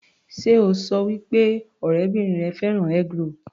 Sé o ṣọ wí pé ọ̀rẹ́bìrin rẹ fẹ́ràn eggroll?